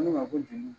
Ne ma ko jeli